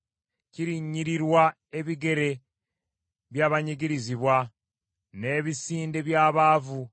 Kirinnyirirwa ebigere by’abanyigirizibwa, n’ebisinde by’abaavu.